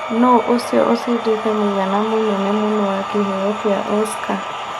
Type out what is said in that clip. nũ ũcio ũcĩndĩte mũigana mũnene mũno wa Kĩheo kĩa Oscar